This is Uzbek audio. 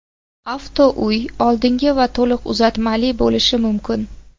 Avtouy oldingi va to‘liq uzatmali bo‘lishi mumkin.